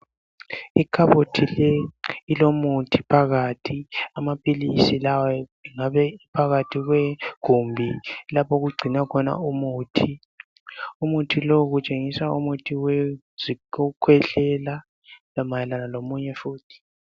Ikhabothi leyi ilomuthi phakathi. Amaphilisi lawa ngabe ephakathi kwegumbi. Lapho okugcinwa khona umuthi. Umuthi lo kutshengiswa umuthi wokukhwehlela. Mayelana lomunye futhi.